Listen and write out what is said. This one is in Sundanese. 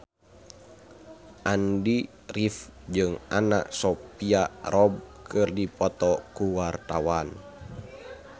Andy rif jeung Anna Sophia Robb keur dipoto ku wartawan